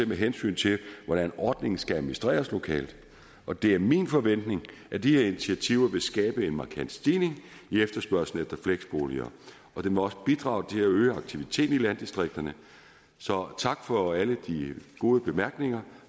med hensyn til hvordan ordningen skal administreres lokalt og det er min forventning at de her initiativer vil skabe en markant stigning i efterspørgslen efter fleksboliger og det må også bidrage til at øge aktiviteten i landdistrikterne så tak for alle de gode bemærkninger